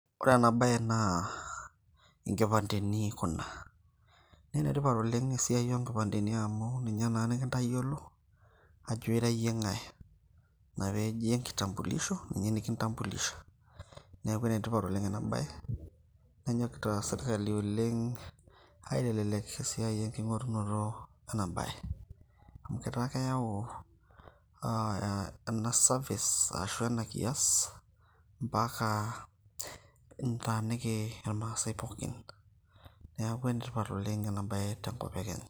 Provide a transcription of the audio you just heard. Ore ena bae naa inkipandeni kuna. Na enetipat oleng' esiai onkipandeni amu ninye naa ninkintayiolo, ajo ira yie ng'ae. Na peji enkitambulisho, ninye nikintambulisha. Neeku enetipat oleng' enabae, nenyokita sirkali oleng' aitelelek esiai enking'orunoto enabae. Amu etaa keyau ena service ashu ena kias, mpaka nitaaniki irmaasai pookin. Neeku enetipat oleng' enabae tenkop e Kenya.